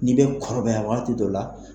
N'i bɛ kɔrɔbaya waati dɔ la.